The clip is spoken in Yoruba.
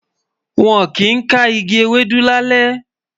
wón kí n ká ìgi Ewédú lalẹ